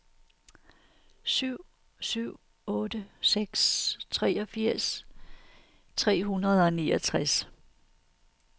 syv syv otte seks treogfirs tre hundrede og niogtres